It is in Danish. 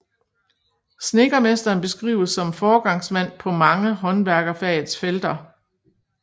Snedkermesteren beskrives som foregangsmand på mange håndværkerfagets felter